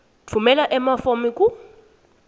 tfumela emafomu ku